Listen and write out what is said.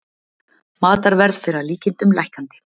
Matarverð fer að líkindum lækkandi